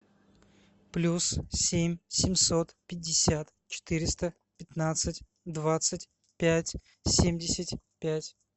плюс семь семьсот пятьдесят четыреста пятнадцать двадцать пять семьдесят пять